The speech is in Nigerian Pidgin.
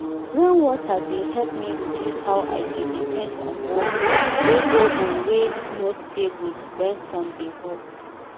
rain water dey help me reduce how i dey depend on borehole wey borehole wey no stable when sun dey hot